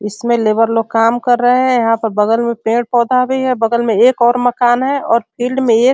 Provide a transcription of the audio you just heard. इसमें लेबर लोग काम कर रहे हैं | यहाँ पर बगल में पेड़-पौधा भी है | बगल में एक और मकान है और फील्ड में एक --